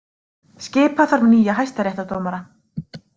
Skipa þarf nýja hæstaréttardómara